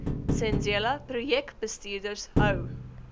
zenzele projekbestuurders hou